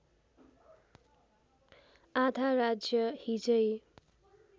आधा राज्य हिजै